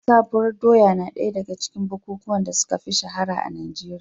Bikin sabuwar doya na ɗaya daga cikin bukukuwan da suka fi shahara a Najeriya.